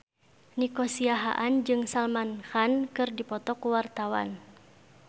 Nico Siahaan jeung Salman Khan keur dipoto ku wartawan